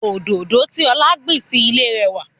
Òdòdó tí ọlá gbìn sì ilé rẹwà.